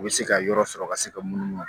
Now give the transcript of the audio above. U bɛ se ka yɔrɔ sɔrɔ ka se ka munumunu